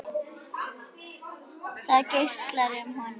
Það geislar af honum.